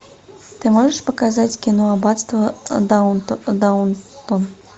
ты можешь показать кино аббатство даунтон